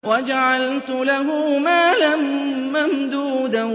وَجَعَلْتُ لَهُ مَالًا مَّمْدُودًا